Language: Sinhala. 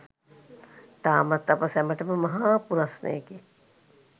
තාමත් අප සැමටම මහා පුරස්නයකි